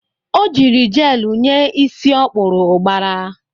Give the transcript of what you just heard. O jiri jelu nye isi ọ kpụrụ ụgbara.